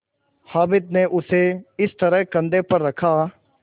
हामिद ने उसे इस तरह कंधे पर रखा